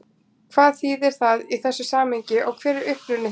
Hvað þýðir það í þessu samhengi og hver er uppruni þess?